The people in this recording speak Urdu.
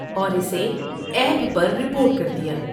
اور اسے ایپ پر رپورٹ کر دیا۔